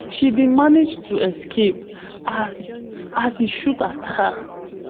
she bin manage to escape as as e shoot at her